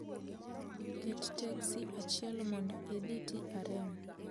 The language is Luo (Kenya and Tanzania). Ket teksi achiel mondo idhi trm